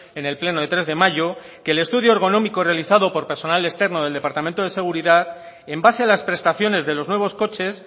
en el pleno de tres de mayo que el estudio ergonómico realizado por personal externo del departamento de seguridad en base a las prestaciones de los nuevos coches